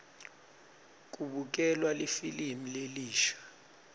kubukelwa lifilimu lelisha